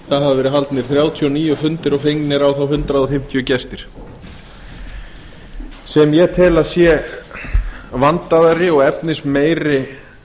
hafa verið haldnir þrjátíu og níu fundir og fengnir á þá hundrað fimmtíu gesti sem ég tel að sé vandaðri og efnismeiri